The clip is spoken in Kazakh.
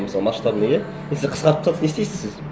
мысалы масштабный иә если қысқартып тастады не істейсіз сіз